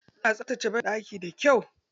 Ina tsaftace baɗaki da kyau.